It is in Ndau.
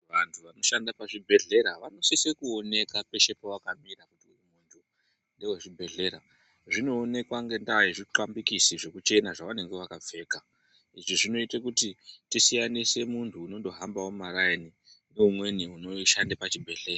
Vantu vanoshanda pazvibhehlera vanosise kuoneka peshe pavakamira kuti ndevezvibhehlera. Zvinoonekwa ngendaa zvinoonekwa ngendaa yezvithambikisi zvekuchena zvavanenge vakapfeka. izvi zvinoitakuti tisiyanise muntu unondohambawo mumaraini nemuntu unoshande pachibhedhlera.